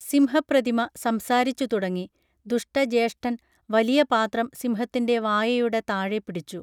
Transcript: സിംഹപ്രതിമ സംസാരിച്ചു തുടങ്ങി ദുഷ്ടജ്യേഷ്ഠൻ വലിയ പാത്രം സിംഹത്തിൻറെ വായയുടെ താഴെ പിടിച്ചു